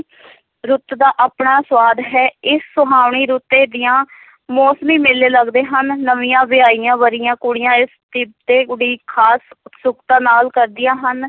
ਰੁੱਤ ਦਾ ਆਪਣਾ ਸਵਾਦ ਹੈ, ਇਸ ਸਹਾਵਣੀ ਰੁੱਤੇ ਦੀਆਂ ਮੋਸਮੀ ਮੇਲੇ ਲਗਦੇ ਹਨ, ਨਵੀਆਂ ਵਿਆਹੀਆਂ-ਵਰ੍ਹੀਆਂ ਕੁੜੀਆਂ ਇਸ ਤਿੱਥ ਤੇ ਉਡੀਕ ਖਾਸ ਉਤਸੁਕਤਾ ਨਾਲ ਕਰਦੀਆਂ ਹਨ।